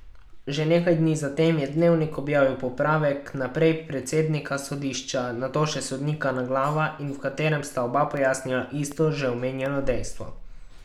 Že nekaj dni zatem je Dnevnik objavil popravek, najprej predsednika sodišča, nato še sodnika Naglava, v katerem sta oba pojasnila isto, že omenjeno dejstvo.